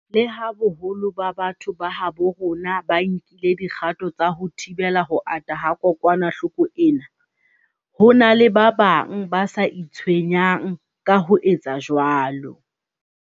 Leha boholo ba batho ba habo rona ba nkile dikgato tsa ho thibela ho ata ha kokwanahloko ena, ho na le ba bang ba sa itshwenyang ka ho etsa jwalo.